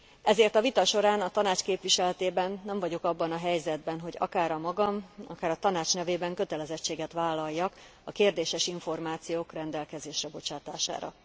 Ezért a vita során a Tanács képviseletében nem vagyok abban a helyzetben, hogy akár a magam, akár a Tanács nevében kötelezettséget vállaljak a kérdéses információk rendelkezésre bocsátására.